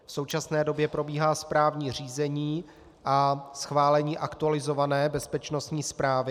V současné době probíhá správní řízení a schválení aktualizované bezpečnostní zprávy.